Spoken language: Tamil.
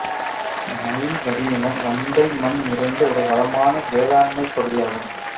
நைல் வடிநிலம் வண்டல் மண் நிறைந்த ஒரு வ்ளமான வேளாண்மைப் பகுதியாகும்